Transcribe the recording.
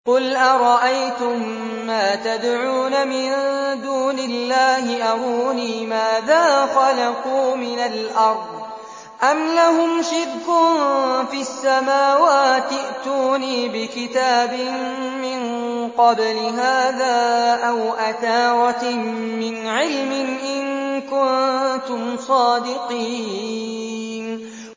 قُلْ أَرَأَيْتُم مَّا تَدْعُونَ مِن دُونِ اللَّهِ أَرُونِي مَاذَا خَلَقُوا مِنَ الْأَرْضِ أَمْ لَهُمْ شِرْكٌ فِي السَّمَاوَاتِ ۖ ائْتُونِي بِكِتَابٍ مِّن قَبْلِ هَٰذَا أَوْ أَثَارَةٍ مِّنْ عِلْمٍ إِن كُنتُمْ صَادِقِينَ